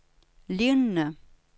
lignende